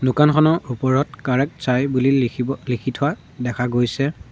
দোকানখনৰ ওপৰত বুলি লিখিব লিখি থোৱা দেখা গৈছে।